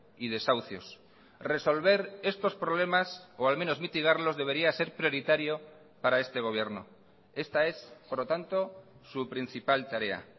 y desahucios resolver estos problemas o al menos mitigarlos debería ser prioritario para este gobierno esta es por lo tanto su principal tarea